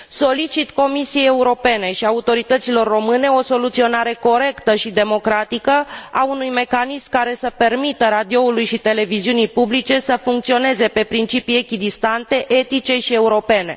Solicit Comisiei Europene și autorităților române o soluționare corectă și democratică a unui mecanism care să permită radioului și televiziunii publice să funcționeze pe principii echidistante, etice și europene.